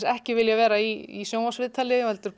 ekki vilja vera í sjónvarpsviðtali heldur